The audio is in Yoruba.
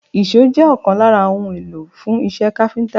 Èṣó jẹ́ ọ̀kan lára ohun èlò fún iṣẹ́ káfíńtà